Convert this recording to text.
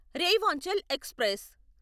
Rewanchal express